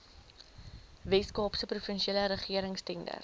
weskaapse provinsiale regeringstenders